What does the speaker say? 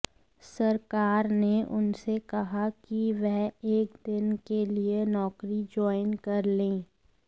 सरकार ने उनसे कहा कि वह एक दिन के लिए नौकरी ज्वॉइन कर लें